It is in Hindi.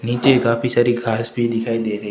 नीचे काफी सारी घास भी दिखाई दे रही--